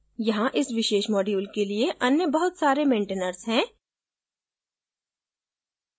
यहां इस विशेष module के लिए अन्य बहुत सारे maintainers हैं